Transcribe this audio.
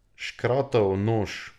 Škratov nož.